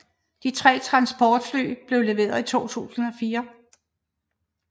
De 3 transportfly blev leveret i 2004